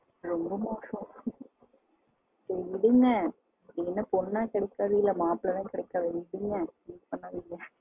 ரொம்ப மோசம் என்ன பொண்ண கிடைக்காது இல்ல மாப்பிள்ளை தான் கிடைக்காது